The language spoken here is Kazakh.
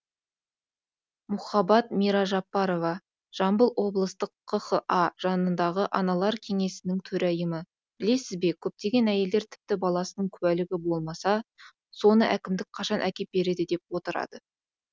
мухаббат миражапова жамбыл облыстық қха жанындағы аналар кеңесінің төрайымы білесіз бе көптеген әйелдер тіпті баласының куәлігі болмаса соны әкімдік қашан әкеп береді деп отырады